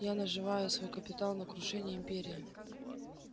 я наживаю свой капитал на крушении империи